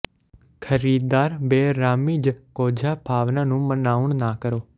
ਖਰੀਦਦਾਰ ਬੇਅਰਾਮੀ ਜ ਕੋਝਾ ਭਾਵਨਾ ਨੂੰ ਮਨਾਉਣ ਨਾ ਕਰੋ